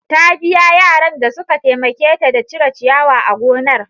Ta biya yaran da suka taimake ta da cire ciyawa a gonar.